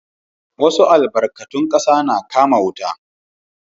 Wassu albarkatun kasa na kaman wuta.